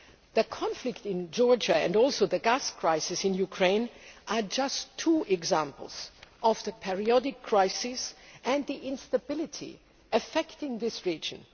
The conflict in Georgia and also the gas crisis in Ukraine are just two examples of the periodic crises and the instability affecting this region.